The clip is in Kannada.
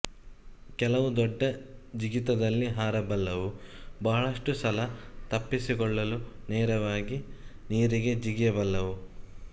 ಕೆಲವು ದೊಡ್ಡ ಜಿಗಿತದಲ್ಲಿ ಹಾರಬಲ್ಲವು ಬಹಳಷ್ಟು ಸಲ ತಪ್ಪಿಸಿಕೊಳ್ಳಲು ನೇರವಾಗಿ ನೀರಿಗೆ ಜಿಗಿಯ ಬಲ್ಲವು